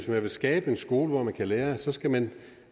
vil skabe en skole hvor man kan lære så skal man